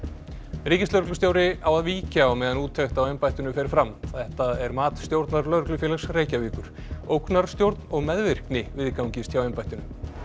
ríkislögreglustjóri á að víkja á meðan úttekt á embættinu fer fram þetta er mat stjórnar Lögreglufélags Reykjavíkur ógnarstjórn og meðvirkni viðgangist hjá embættinu